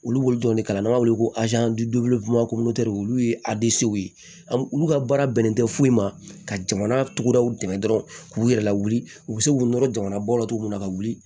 Olu b'olu dɔn ne kala n'an b'a wele ko olu ye ye an olu ka baara bɛnnen tɛ foyi ma ka jamana tugu daw dɛmɛ dɔrɔn k'u yɛrɛ lawuli u bɛ se k'u nɔrɔ jamanabɔ la cogo min na ka wuli